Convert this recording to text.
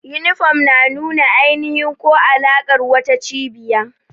Yunifom na nuna ainihi ko alaƙar wata cibiya.